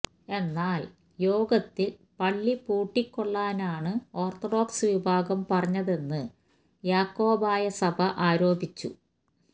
എന്നാൽ യോഗത്തിൽ പള്ളി പൂട്ടിക്കൊള്ളാനാണ് ഓർത്തഡോക്സ് വിഭാഗം പറഞ്ഞതെന്ന് യാക്കോബായ സഭ ആരോപിച്ചു